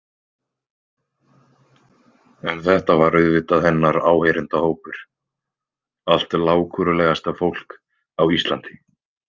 En þetta var auðvitað hennar áheyrendahópur, allt lágkúrulegasta fólk á Íslandi.